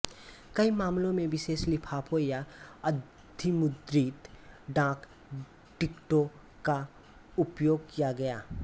कई मामलों में विशेष लिफाफों या अधिमुद्रित डाक टिकटों का उपयोग किया गया